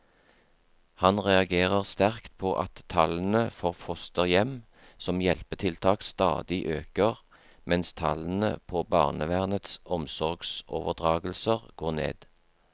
Han reagerer sterkt på at tallene for fosterhjem som hjelpetiltak stadig øker, mens tallene på barnevernets omsorgsoverdragelser går ned.